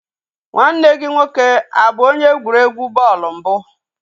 Nwanne gị nwoke abụ onye egwuregwu bọọlụ mbụ?